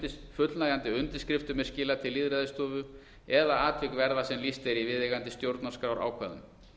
fullnægjandi undirskriftum er skilað til lýðræðisstofu eða atvik verða sem lýst er í viðeigandi stjórnarskrárákvæðum